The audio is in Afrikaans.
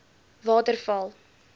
waterval